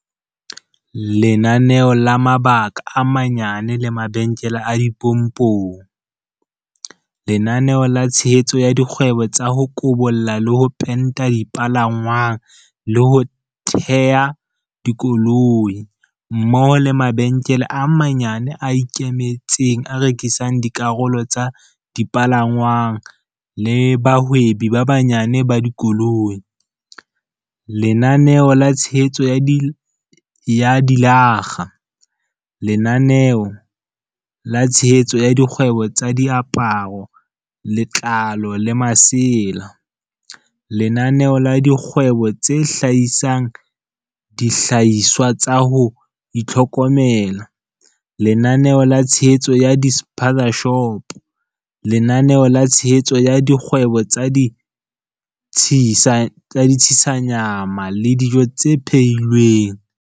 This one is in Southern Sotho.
Lenaneo la mabaka a manyane le mabenkele a dipompong. Lenaneo la tshehetso ya dikgwebo tsa ho kobolla le ho penta dipalangwang le ho teha dikoloi. Lenaneo la tshehetso ya dilakga. Lenaneo la tshehetso ya dikgwebo tsa diaparo, letlalo le masela. Lenaneo la dikgwebo tse hlahisang dihlahiswa tsa ho itlhokomela. Lenaneo la tshehetso ya di-spaza-shopo. Lenaneo la tshehetso ya dikgwebo tsa di-tshisa nyama le dijo tse phehi lweng.